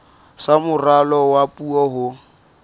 sa moralo wa puo ho